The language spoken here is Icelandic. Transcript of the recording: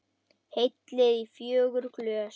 Hellið í fjögur glös.